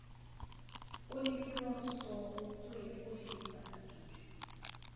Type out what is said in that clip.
ó ní kí wón sọ ohun tó yẹ kó ṣe pàtàkì jù